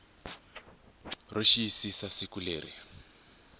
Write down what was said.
ro xiyisisa kumbe siku leri